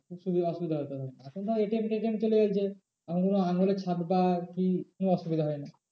সুবিধা, অসুবিধা হতো এখন তো আবার ATM ফেটিএম চলে এসছে এখন শুধু আঙুলের ছাপ বা কি কোনো অসুবিধা হয় না।